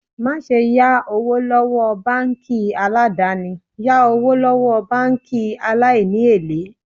Má ṣe yá owó lọ́wọ́ báńkì aládàni, yá owó lọ́wọ́ báńkì aláìní èlé.